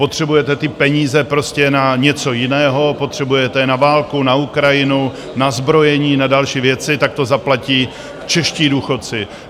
Potřebujete ty peníze prostě na něco jiného, potřebujete je na válku, na Ukrajinu, na zbrojení, na další věci, tak to zaplatí čeští důchodci.